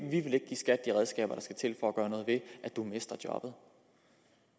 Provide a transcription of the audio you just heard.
gøre noget ved at de mister jobbet